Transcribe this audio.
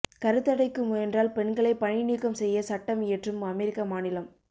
கருத்தடைக்கு முயன்றால் பெண்களை பணி நீக்கம் செய்ய சட்டம் இயற்றும் அமெரிக்க மாநிலம்